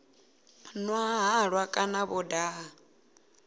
nwa halwa kana vho daha